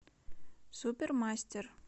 супермастер